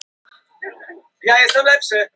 Hvernig fær maður hana?